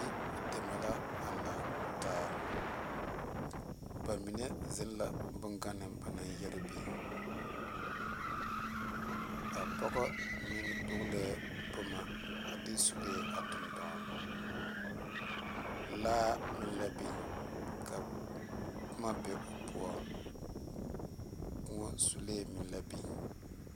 Yideme la a laŋ taa ba mine zeŋ la bongane ba naŋ yɛre biŋ a pɔge meŋ dɔglɛɛ boma a de sulee toŋ dɔɔna laa meŋ la biŋ ka boma be o poɔŋ k,o sulee meŋ la biŋ.